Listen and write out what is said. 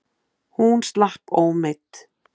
Hún slapp ómeidd.